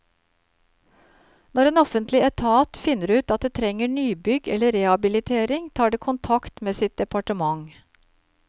Når en offentlig etat finner ut at det trenger nybygg eller rehabilitering, tar det kontakt med sitt departement.